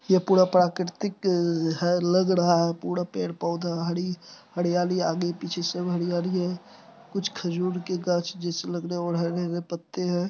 ये पूरा प्राकृतिक है लग रहा है पूरा पेड़-पौधा हरी हरियाली आगे पीछे सब हरियाली है कुछ खजूर के गाछ जैसे लग रहेऔर हरे-हरे पत्ते है।